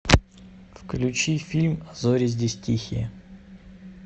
включи фильм а зори здесь тихие